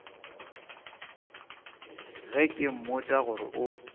ge ke mmotša gore o